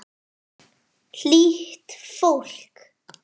Hlýtt fólk.